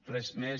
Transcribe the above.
res més